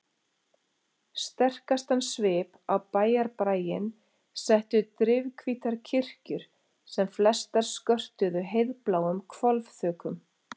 Sterkastan svip á bæjarbraginn settu drifhvítar kirkjur sem flestar skörtuðu heiðbláum hvolfþökum.